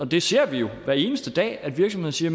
vi ser jo hver eneste dag at virksomheder siger